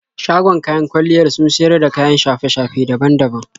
Shagon kayan kwalliyar sun siyar da kayan shafe-shafe daban daban.